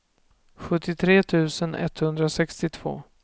sjuttiotre tusen etthundrasextiotvå